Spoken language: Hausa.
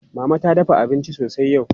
Mama ta dafa abinci sosai yau.